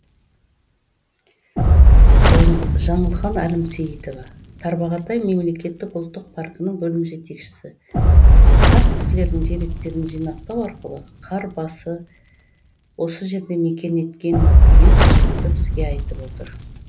жаңылхан әлімсейітова тарбағатай мемлекеттік ұлттық паркінің бөлім жетекшісі қарт кісілердің деректерін жинақтау арқылы қар барысы осы жерде мекен еткен екен деген тұжырымды бізге айтып отыр